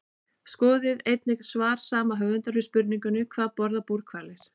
Skoðið einnig svar sama höfundur við spurningunni Hvað borða búrhvalir?